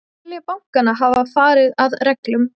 Telja bankann hafa farið að reglum